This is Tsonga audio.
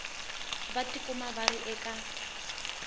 va tikumaka va ri eka